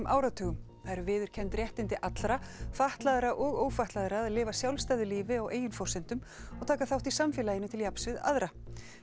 áratugi það eru viðurkennd réttindi allra fatlaðra og ófatlaðra að lifa sjálfstæðu lífi á eigin forsendum og taka þátt í samfélaginu til jafns við aðra